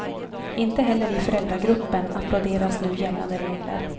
Inte heller i föräldragruppen applåderas nu gällande regler.